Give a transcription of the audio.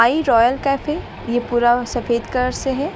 ये Royal Cafe यह पूरा सफेद कलर से है।